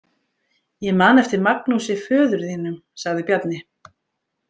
Ég man eftir Magnúsi föður þínum, sagði Bjarni.